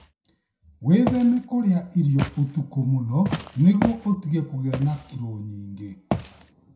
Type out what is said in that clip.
Wĩtheme kũrĩa irio ũtukũ mũno nĩguo ũtige kũgĩa na kilo nyingĩ.